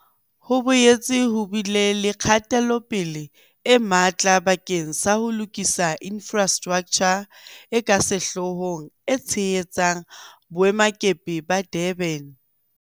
Ho boetse ho bile le kgatelopele e matla bakeng sa ho lokisa infrastraktjha e ka sehloohong e tshehetsang Boemakepe ba Durban.